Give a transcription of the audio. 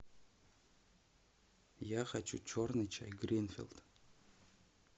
я хочу черный чай гринфилд